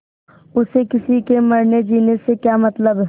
उसे किसी के मरनेजीने से क्या मतलब